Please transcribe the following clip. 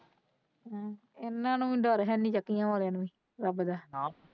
ਇਹਨਾਂ ਨੂੰ ਵੀ ਡਰ ਹੈ ਨਹੀਂ ਚੱਕਿਆ ਵਾਲੇ ਰੱਬ ਦਾ।